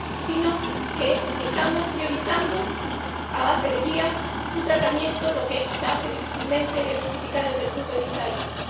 sino que estamos priorizando, a base de guía, su tratamiento, lo que se hace difícil de justificar desde el punto de vista ético.